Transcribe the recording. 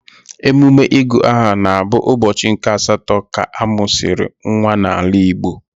Emume ịgụ aha na-abụ ụbọchị nke asatọ ka a mụsịrị nwa n'ala Igbo